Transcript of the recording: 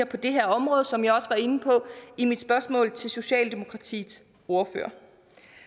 på det her område som jeg også var inde på i mit spørgsmål til socialdemokratiets ordfører